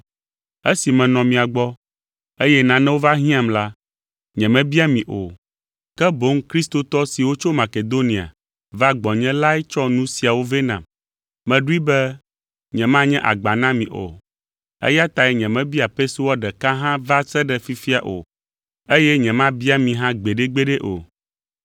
Esi menɔ mia gbɔ, eye nanewo va hiãm la, nyemebia mi o, ke boŋ kristotɔ siwo tso Makedonia va gbɔnye lae tsɔ nu siawo nu vɛ nam. Meɖoe be nyemanye agba na mi o, eya tae nyemebia pesewa ɖeka hã va se ɖe fifia o, eye nyemabia mi hã gbeɖegbeɖe o.